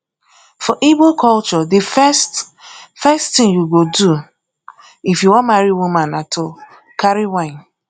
for igbo culture the first first thing you go do if you wan marry woman na to carry wine